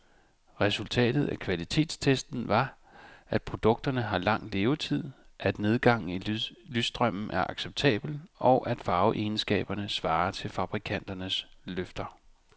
Resultatet af kvalitetstesten var, at produkterne har lang levetid, at nedgangen i lysstrømmen er acceptabel, og at farveegenskaberne svarer til fabrikanternes løfter.